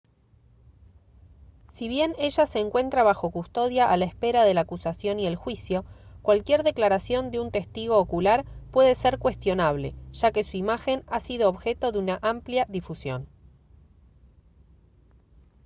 si bien ella se encuentra bajo custodia a la espera de la acusación y el juicio cualquier declaración de un testigo ocular puede ser cuestionable ya que su imagen ha sido objeto de una amplia difusión